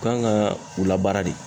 U kan ka u labaara de.